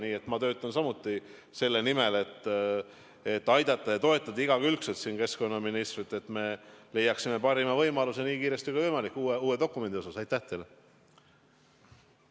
Nii et ma töötan samuti selle nimel, et igakülgselt aidata ja toetada keskkonnaministrit, et leiaksime parima võimaluse uue dokumendi osas nii kiiresti kui võimalik.